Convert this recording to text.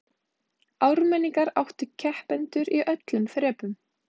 Ármenningar áttu keppendur í öllum þrepum